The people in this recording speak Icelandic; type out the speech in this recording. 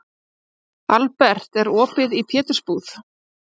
Albert, er opið í Pétursbúð?